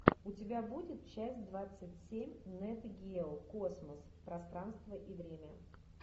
у тебя будет часть двадцать семь нет гео космос пространство и время